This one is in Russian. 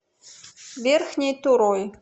верхней турой